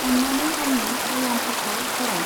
अन्नानै आंनि एलार्मफोरखौ फराय।